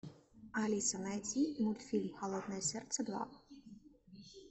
алиса найди мультфильм холодное сердце два